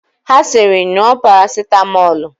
Ha sịrị, ṅụọ parasitamọlụ!